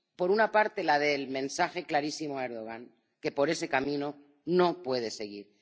Por una parte, la del mensaje clarísimo a Erdogan que por ese camino no puede seguir.